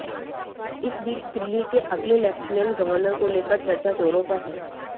इस बीच दिल्ली के अगले लेफ्टिनेंट गवर्नर को लेकर चर्चा जोरों पर है